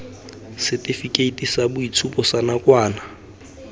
setifikeiti sa boitshupo sa nakwana